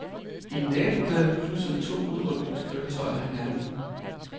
I nabolaget krydsede to udrykningskøretøjer hinanden.